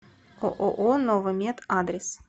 ооо новомет адрес